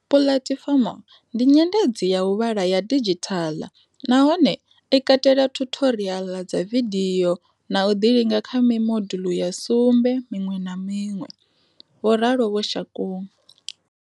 Puḽatifomo ndi nyendedzi ya u vhala ya didzhithala nahone i katela thuthoriaḽa dza vidio na u ḓilinga kha mi moduḽu ya sumbe miṅwe na miṅwe, vho ralo vho Shakung.